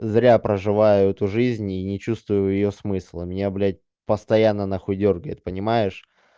зря проживаю эту жизнь и не чувствую её смысла меня блять постоянно нахуй дёргает понимаешь